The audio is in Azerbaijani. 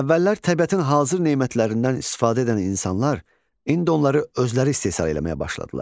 Əvvəllər təbiətin hazır nemətlərindən istifadə edən insanlar, indi onları özləri istehsal eləməyə başladılar.